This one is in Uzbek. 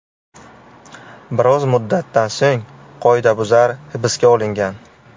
Biroz muddatdan so‘ng qoidabuzar hibsga olingan.